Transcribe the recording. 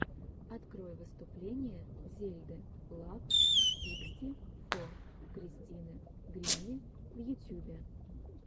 открой выступление зельды лав сиксти фо кристины гримми в ютюбе